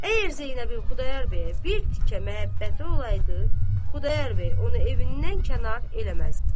Əgər Zeynəbin Xudayar bəyə bir tikə məhəbbəti olaydı, Xudayar bəy onu evindən kənar eləməzdi.